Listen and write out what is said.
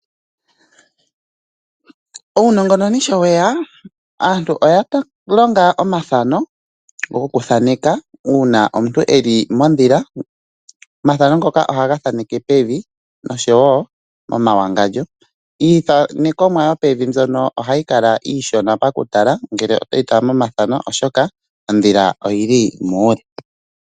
Uunongononi sho weya, aantu oya tameke okulonga omathano goku thaneka uuna omuntu eli modhila, omathano ngoka ohaga thaneke pevi noshowo momawangandjo, iithanekomwa yo pevi mbyono ohayi kala iishona paku tala ngele toyi tala momathano oshoka, odhila oyili muule.